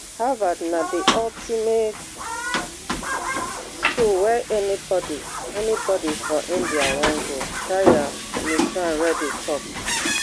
harvard na di ultimate school wey anybody anybody for india wan go shreya mishra reddy tok